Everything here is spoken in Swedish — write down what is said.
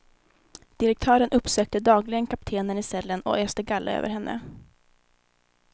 Direktören uppsökte dagligen kaptenen i cellen och öste galla över henne.